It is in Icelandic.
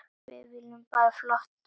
Við viljum bara flottar dúfur.